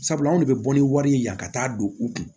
Sabula anw de bɛ bɔ ni wari ye yan ka taa don u kun